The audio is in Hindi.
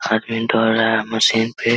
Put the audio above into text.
प्रिंट हो रहा है मशीन पे --